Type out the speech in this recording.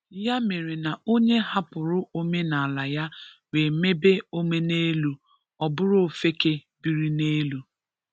Ya mere na onye hapụrụ omenala ya wee mèbè omenèlú, ọ bùrù òfèkè bírì n’èlú.